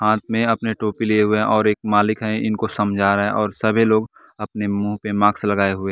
हाथ में अपने टोपी लिए हुए हैं और एक मालिक है इनको समझा रहा है और सभी लोग अपने मुंह पे मार्क्स लगाए हुए हैं।